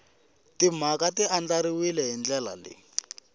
timhaka ti andlariwile hi ndlela